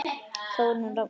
Þórunn Rafnar.